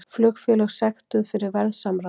Flugfélög sektuð fyrir verðsamráð